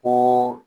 Ko